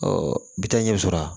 bi taa ɲɛ sɔrɔ a la